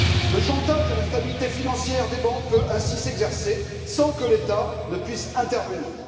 Le chantage à la stabilité financière des banques peut ainsi s'exercer sans que l'État ne puisse intervenir.